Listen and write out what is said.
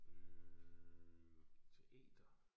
Øh teater